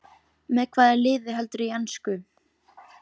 Með hvaða liði heldurðu í ensku?